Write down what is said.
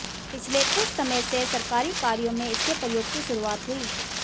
पिछले कुछ समय से सरकारी कार्यों में इसके प्रयोग की शुरुआत हुई